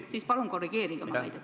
Siis palun korrigeerige oma väidet!